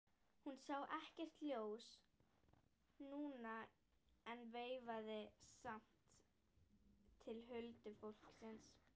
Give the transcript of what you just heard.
Hún sá ekkert ljós núna en veifaði samt til huldufólksins.